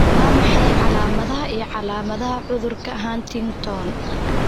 Waa maxay calaamadaha iyo calaamadaha cudurka Huntington?